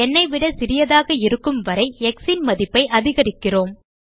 ந் ஐ விட சிறியதாக இருக்கும் வரை x ன் மதிப்பை அதிகரிக்கிறோம்